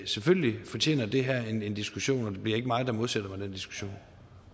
selvfølgelig fortjener det her en en diskussion og det bliver ikke mig der modsætter mig den diskussion